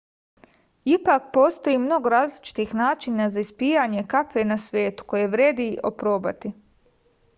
ipak postoji mnogo različitih načina za ispijanje kafe na svetu koje vredi oprobati